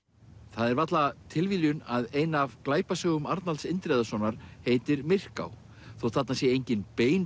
það er varla tilviljun að ein af glæpasögum Arnalds Indriðasonar heitir Myrká þótt þarna sé engin bein